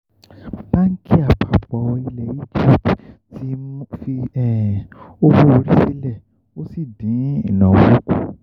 báńkì àpapọ̀ ilẹ̀ egipti fi owó orí sílẹ̀ ó sì dín ìnáwó kù